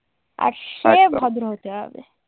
আর সে ভদ্র হতে হবে।